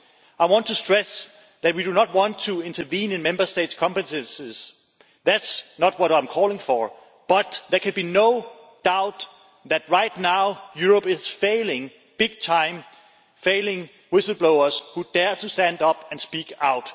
I want to stress that we do not want to intervene in Member States' competences, that is not what I am calling for, but there should be no doubt that right now Europe is failing big time, failing whistle blowers who dare to stand up and speak out.